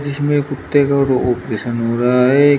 इसमें कुत्ते का और ऑपरेशन हो रहा है।